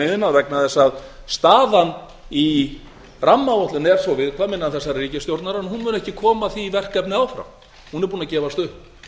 iðnað vegna þess að staðan í rammaáætlun er svo viðkvæm innan þessarar ríkisstjórnar en hún mun ekki koma því verkefni áfram hún er búin að gefast